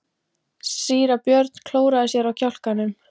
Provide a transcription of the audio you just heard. Síra Björn klóraði sér á kjálkanum.